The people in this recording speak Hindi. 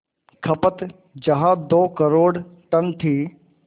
खपत जहां दो करोड़ टन थी